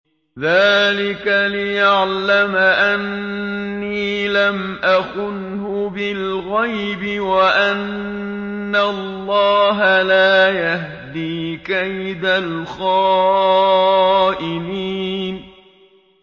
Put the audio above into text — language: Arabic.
ذَٰلِكَ لِيَعْلَمَ أَنِّي لَمْ أَخُنْهُ بِالْغَيْبِ وَأَنَّ اللَّهَ لَا يَهْدِي كَيْدَ الْخَائِنِينَ